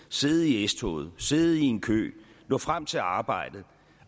sidde i s toget sidde i en kø nå frem til arbejdet